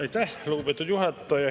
Aitäh, lugupeetud juhataja!